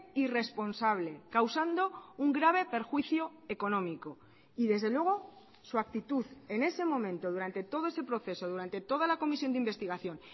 irresponsable causando un grave perjuicio económico y desde luego su actitud en ese momento durante todo ese proceso durante toda la comisión de investigación